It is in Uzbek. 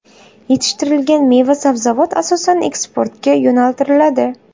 Yetishtirilgan meva-sabzavot asosan eksportga yo‘naltiriladi.